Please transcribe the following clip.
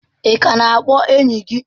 Ị ka na-akpọ enyi gị?